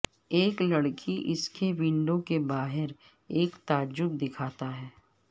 ایک لڑکی اس کی ونڈو کے باہر ایک تعجب دکھاتا ہے